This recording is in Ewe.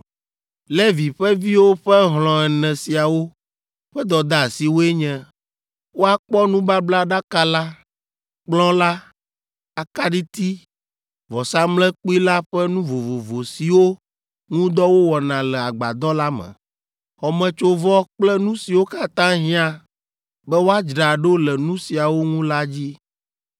Levi ƒe viwo ƒe hlɔ̃ ene siawo ƒe dɔdeasiwoe nye, woakpɔ nubablaɖaka la, kplɔ̃ la, akaɖiti, vɔsamlekpui la ƒe nu vovovo siwo ŋu dɔ wowɔna le agbadɔ la me, xɔmetsovɔ kple nu siwo katã hiã be woadzra ɖo le nu siawo ŋu la dzi.